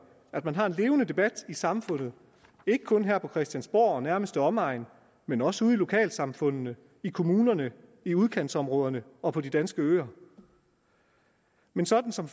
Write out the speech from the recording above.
at man har en levende debat i samfundet ikke kun her på christiansborg og nærmeste omegn men også ude i lokalsamfundene i kommunerne i udkantsområderne og på de danske øer men sådan som